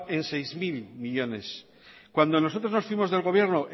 en seis mil millónes cuando nosotros nos fuimos del gobierno